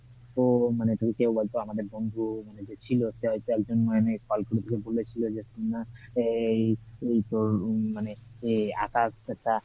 তো মানে বন্ধু মানে ছিলো সে একজন আকাশ